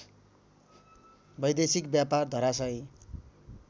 वैदेशिक व्यापार धरासायी